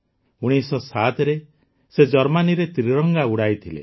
୧୯୦୭ରେ ସେ ଜର୍ମାନୀରେ ତ୍ରିରଙ୍ଗା ଉଡାଇଥିଲେ